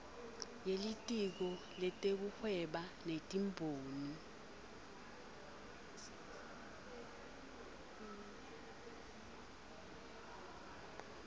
yelitiko letekuhweba netimboni